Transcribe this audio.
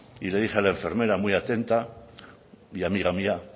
y le dije a la enfermera muy atenta y amiga mía